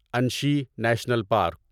Anshi national park